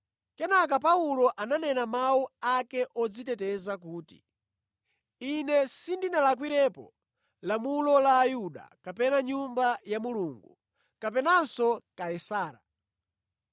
Kenaka Paulo ananena mawu ake odziteteza kuti, “Ine sindinalakwirepo lamulo la Ayuda, kapena Nyumba ya Mulungu kapenanso Kaisara.”